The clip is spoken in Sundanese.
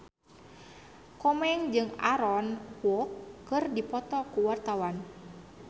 Komeng jeung Aaron Kwok keur dipoto ku wartawan